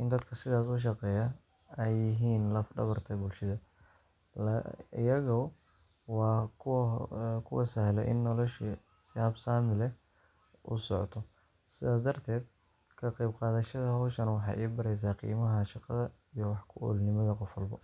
in dadka sidaas u shaqeeya ay yihiin laf-dhabarta bulshada. Iyagu waa kuwa sahla in noloshii si habsami leh u socoto. Sidaas darteed, ka qaybqaadashada hawshan waxay i baraysaa qiimaha shaqada iyo wax-ku-oolnimada qof walba